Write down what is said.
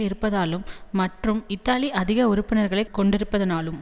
இருப்பதாலும் மற்றும் இத்தாலி அதிக உறுப்பினர்களை கொண்டிருப்பதனாலும்